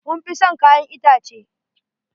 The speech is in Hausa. Mun fi son kayan itace.